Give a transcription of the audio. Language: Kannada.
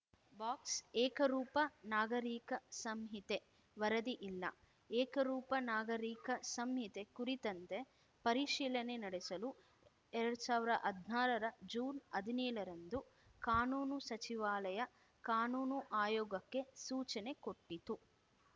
ಬಾಕ್ಸ್ ಏಕರೂಪ ನಾಗರಿಕ ಸಂಹಿತೆ ವರದಿ ಇಲ್ಲ ಏಕರೂಪ ನಾಗರಿಕ ಸಂಹಿತೆ ಕುರಿತಂತೆ ಪರಿಶೀಲನೆ ನಡೆಸಲು ಎರಡ್ ಸಾವಿರ ಹದ್ನಾರರ ಜೂನ್ಹದಿನೇಳರಂದು ಕಾನೂನು ಸಚಿವಾಲಯ ಕಾನೂನು ಆಯೋಗಕ್ಕೆ ಸೂಚನೆ ಕೊಟ್ಟಿತ್ತು